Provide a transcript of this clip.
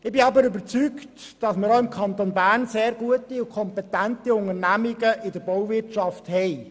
Ich bin aber überzeugt, dass wir auch im Kanton Bern sehr gute, kompetente Unternehmungen in der Bauwirtschaft haben.